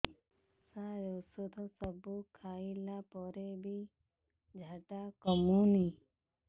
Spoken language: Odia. ସାର ଔଷଧ ସବୁ ଖାଇଲା ପରେ ବି ଝାଡା କମୁନି